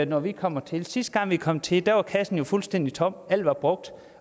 når vi kommer til sidste gang vi kom til var kassen jo fuldstændig tom alt var brugt